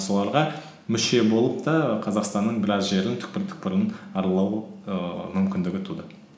соларға мүше болып та қазақстанның біраз жерін түкпір түкпірін аралау ііі мүмкіндігі туды